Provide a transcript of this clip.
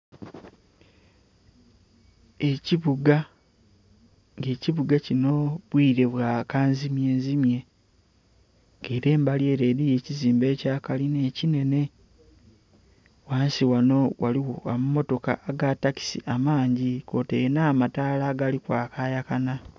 Ekibuga nga ekibuga kinho obwire bwa kanzimye nzimwe nga ere embali ere elyo ekizimbe ekya kalinna ekinene, ghansi ghanho ghaligho amamotoka aga takisi kwotaire nha mataala agali kwakayakana.